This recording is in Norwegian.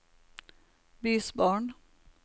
bysbarn